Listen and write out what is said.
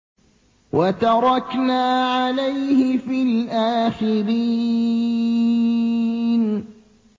وَتَرَكْنَا عَلَيْهِ فِي الْآخِرِينَ